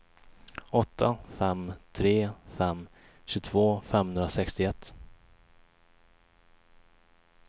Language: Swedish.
åtta fem tre fem tjugotvå femhundrasextioett